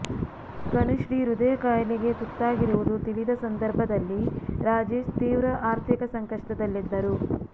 ಕನಿಶ್ರೀ ಹೃದಯ ಕಾಯಿಲೆಗೆ ತುತ್ತಾಗಿರುವುದು ತಿಳಿದ ಸಂದರ್ಭದಲ್ಲಿ ರಾಜೇಶ್ ತೀವ್ರ ಆರ್ಥಿಕ ಸಂಕಷ್ಟದಲ್ಲಿದ್ದರು